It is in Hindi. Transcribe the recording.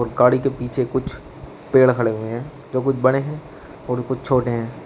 गाड़ी के पीछे कुछ पेड़ खड़े हुए हैं जो कुछ बड़े हैं और कुछ छोटे हैं।